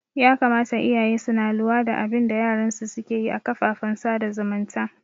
Ya kamata iyaye suna luwa da abinda yaran su suke yi a kafafen sada zumunta